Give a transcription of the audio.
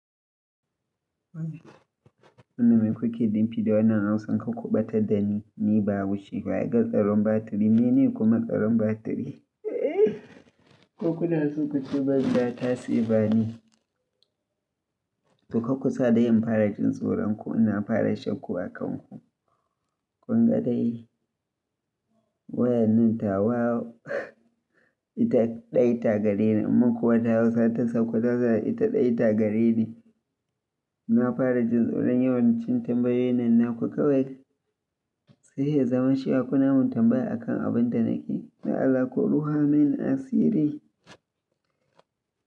Wani mai kuke limfi da wannan Hausan ka kuɓatar da ni, ni babu shi. Wa ya ga tsaron batiri, mene kuma tsaron batiri? Ko kuna so ku ci banza, tasi ba ni. To ka kusa da yin fara jin tsoron ku, ina fara shakku a kanku. Kun ga dai wayan nan tawa ita ɗaya tagareni, mun kuwa tawa sata sakwararsa ita ɗaya tagareni. Na fara jin tsoron yawan cin tambayoyin nan na ku kawai, sai ya zama shaku namun tambaya a kan abin da nake da alaƙuɗu hamen asiri.